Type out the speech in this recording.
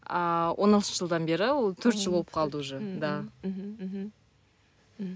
ааа он алтыншы жылдан ол бері төрт жыл болып қалды уже